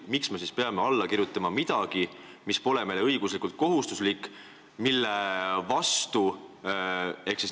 Miks me siis peame alla kirjutama midagi, mis pole meile õiguslikult kohustuslik?